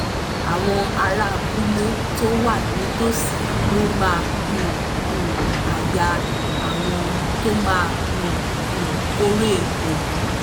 àwọn ará abúlé tó wà nítòsí ló máa um ń háyà àwọn tó máa ń um kórè òwú